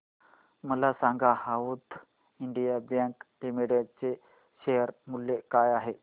मला सांगा south Indian bank limited चे शेअर मूल्य काय आहे